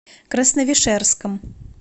красновишерском